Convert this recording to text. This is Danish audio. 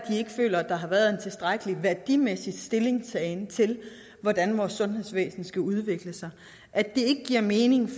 føler der har været en tilstrækkelig værdimæssig stillingtagen til hvordan vores sundhedsvæsen skal udvikle sig at det ikke giver mening